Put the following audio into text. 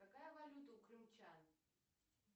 какая валюта у крымчан